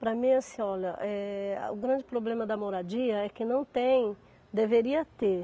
Para mim, assim, olha, eh o grande problema da moradia é que não tem, deveria ter.